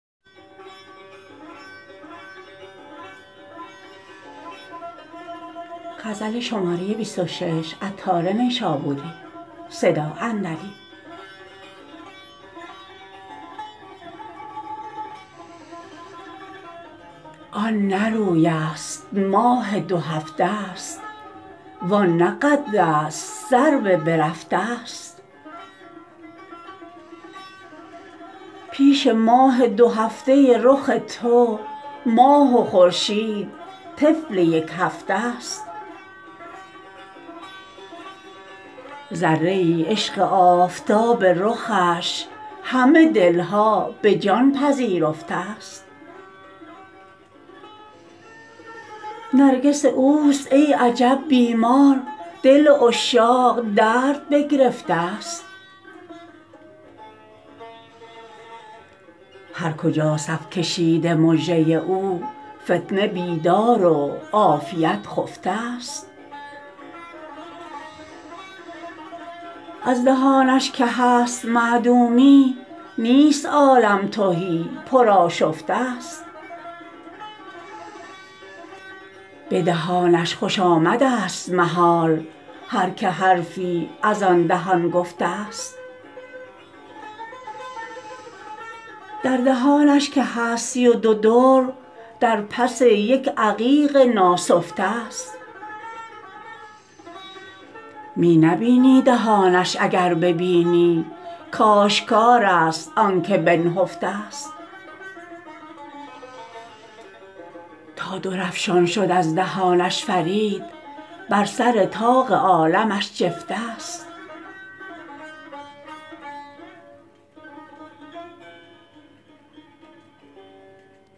آن نه روی است ماه دو هفته است وان نه قد است سرو بررفته است پیش ماه دو هفته رخ تو ماه و خورشید طفل یک هفته است ذره ای عشق آفتاب رخش همه دلها به جان پذیرفته است نرگس اوست ای عجب بیمار دل عشاق درد بگرفته است هر کجا صف کشیده مژه او فتنه بیدار و عافیت خفته است از دهانش که هست معدومی نیست عالم تهی پر آشفته است به دهانش خوش آمد است محال هر که حرفی از آن دهان گفته است در دهانش که هست سی و دو در در پس یک عقیق ناسفته است می نبینی دهانش اگر بینی کاشکار است آنکه بنهفته است تا درافشان شد از دهانش فرید بر سر طاق عالمش جفته است